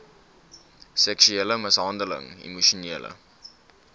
seksuele mishandeling emosionele